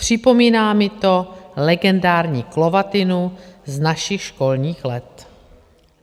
Připomíná mi to legendární klovatinu z našich školních let.